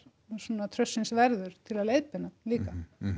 svona traustsins verður til að leiðbeina líka